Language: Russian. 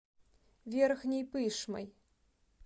верхней пышмой